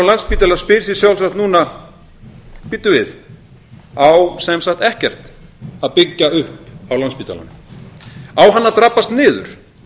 á landspítala spyr sig sjálfsagt núna bíddu við á sem sagt ekkert að byggja upp á landspítalanum á hann að drabbast niður